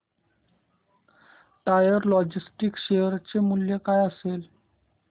tiger Logistics share चे मूल्य काय असेल